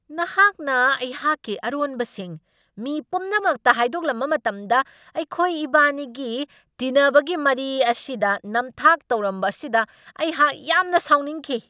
ꯅꯍꯥꯛꯅ ꯑꯩꯍꯥꯛꯀꯤ ꯑꯔꯣꯟꯕꯁꯤꯡ ꯃꯤ ꯄꯨꯝꯅꯃꯛꯇ ꯍꯥꯏꯗꯣꯛꯂꯝꯕ ꯃꯇꯝꯗ ꯑꯩꯈꯣꯏ ꯏꯕꯥꯅꯤꯒꯤ ꯇꯤꯟꯅꯕꯒꯤ ꯃꯔꯤ ꯑꯁꯤꯗ ꯅꯝꯊꯥꯛ ꯇꯧꯔꯝꯕ ꯑꯁꯤꯗ ꯑꯩꯍꯥꯛ ꯌꯥꯝꯅ ꯁꯥꯎꯅꯤꯡꯈꯤ ꯫